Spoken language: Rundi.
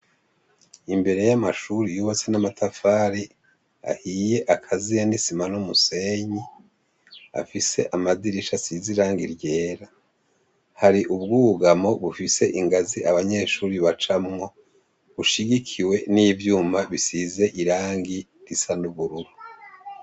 Imbere y'amashure yubatse n'amatafari ahiye akaziye n'isima n'umusenyi, afise amadirisha asize irangi ryera. Hari ubwugamo bufise ingazi abanyeshure bacamwo bushigikiwe n'ivyuma bisize irangi risa n'ubururu.